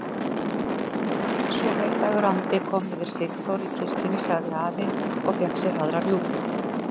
Svo heilagur andi kom yfir Sigþóru í kirkjunni! sagði afi og fékk sér aðra rjúpu.